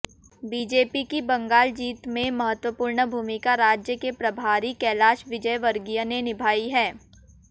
BJP की बंगाल जीत में महत्वपूर्ण भूमिका राज्य के प्रभारी कैलाश विजयवर्गीय ने निभाई है